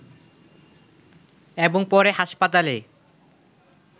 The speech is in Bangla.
এবং পরে হাসপাতালে